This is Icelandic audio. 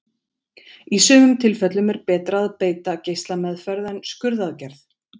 Í sumum tilfellum er betra að beita geislameðferð en skurðaðgerð.